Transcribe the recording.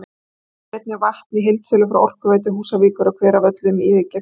Hún kaupir einnig vatn í heildsölu frá Orkuveitu Húsavíkur á Hveravöllum í Reykjahverfi.